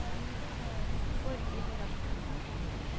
Borghild Rasmussen